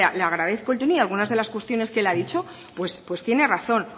le agradezco el tono y algunas de las cuestiones que él ha dicho tiene razón